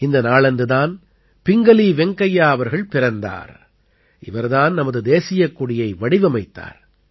இந்த நாளன்று தான் பிங்கலீ வெங்கையா அவர்கள் பிறந்தார் இவர் தான் நமது தேசியக் கொடியை வடிவமைத்தார்